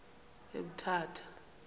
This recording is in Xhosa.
emthatha